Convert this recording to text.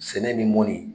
Sɛnɛ bɛ mɔni